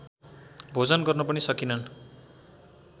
भोजन गर्न पनि सकिनन्